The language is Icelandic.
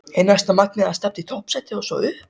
Er næsta markmið að stefna á toppsætið og svo upp?